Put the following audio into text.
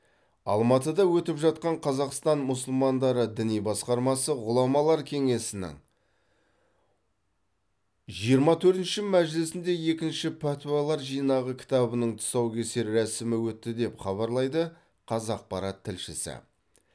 алматыда өтіп жатқан қазақстан мұсылмандары діни басқармасы ғұламалар кеңесінің жиырма төртінші мәжілісінде екінші пәтуалар жинағы кітабының тұсаукесер рәсімі өтті деп хабарлайды қазақпарат тілшісі